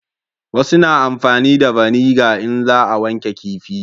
Wasu na amfani da vaniga in za a wanke kifi